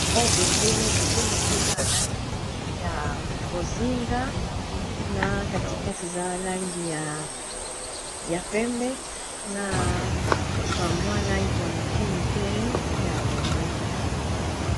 Oyo bendele, bendele ango eza ya langi ya bozinga na katikati eza langi ya pembe na bamwa langi ya moke moke ya bozinga.